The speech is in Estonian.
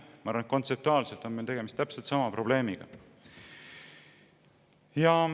Ma arvan, et kontseptuaalselt on meil tegemist täpselt sama probleemiga.